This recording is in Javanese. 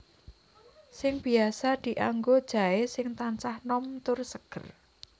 Sing biasa dianggo jaé sing tansah nom tur seger